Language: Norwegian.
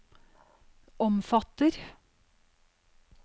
omfatter